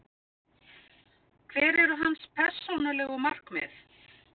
Hver eru hans persónulegu markmið?